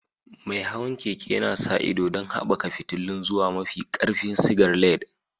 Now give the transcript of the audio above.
Mai hawan keke yana sa ido don haɓaka fitilun zuwa mafi ƙarfin sigar LED.